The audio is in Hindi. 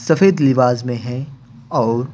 सफेद लिबाज में है और--